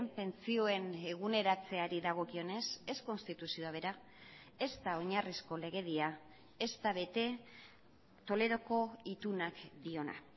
pentsioen eguneratzeari dagokionez ez konstituzioa bera ez da oinarrizko legedia ez da bete toledoko itunak diona